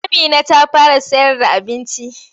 Amina ta fara sayarda abinci.